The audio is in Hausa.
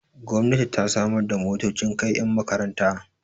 gomnati ta samar da motocin kai yan makaranta